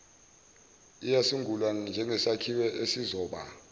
uyasungulwa njengsakhiwo esizoba